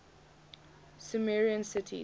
sumerian cities